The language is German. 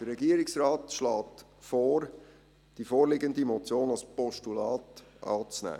Der Regierungsrat schlägt vor, die vorliegende Motion als Postulat anzunehmen.